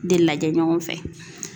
De lajɛ ɲɔgɔn fɛ